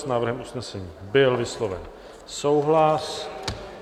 S návrhem usnesení byl vysloven souhlas.